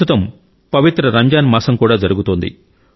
ప్రస్తుతం పవిత్ర రంజాన్ మాసం కూడా జరుగుతోంది